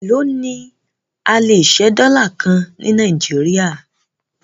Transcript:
Èló ni a lè ṣẹ́ dọ́là kan ní Nàìjíríà?